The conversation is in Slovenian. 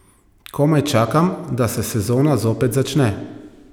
Komaj čakam, da se sezona zopet začne.